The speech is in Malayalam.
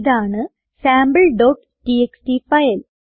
ഇതാണ് sampleടിഎക്സ്ടി ഫയൽ